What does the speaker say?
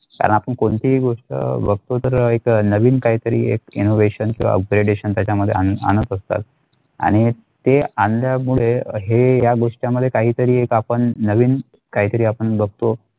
कारण आपण कोणतेही गोष्ट बघतो तर एक नवीन काहीतरी एक innovation किंवा upgradation त्याच्यामध्ये आणत असतात आणि ते आण्यामुळे हे ह्या या गोष्टींमध्ये काही तरी एक आपण नवीन काही तरी बगतो.